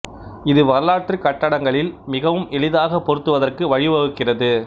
இது வரலாற்றுக் கட்டடங்களில் மிகவும் எளிதாக பொருத்துவதற்கு வழி வகுக்கிறது